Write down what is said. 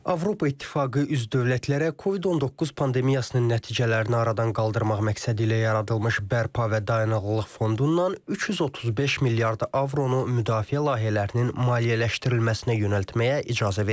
Avropa İttifaqı üzv dövlətlərə COVID-19 pandemiyasının nəticələrini aradan qaldırmaq məqsədi ilə yaradılmış bərpa və dayanıqlıq fondundan 335 milyard avronu müdafiə layihələrinin maliyyələşdirilməsinə yönəltməyə icazə verib.